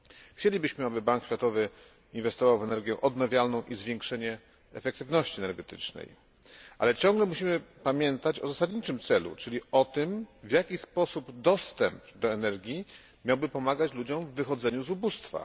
Chcielibyśmy, aby Bank Światowy inwestował w energię odnawialną i zwiększenie efektywności energetycznej, ale ciągle musimy pamiętać o zasadniczym celu, czyli o tym, w jaki sposób dostęp do energii miałby pomagać ludziom w wychodzeniu z ubóstwa.